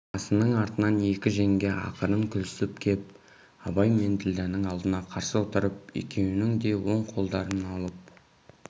асының артынан екі жеңге ақырын күлісіп кеп абай мен ділдәнің алдына қарсы отырып екеуінің де он қолдарын алып